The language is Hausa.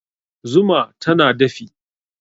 Zuma tana dafi